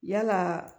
Yalaa